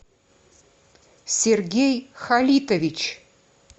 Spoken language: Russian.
сергей халитович